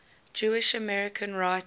jewish american writers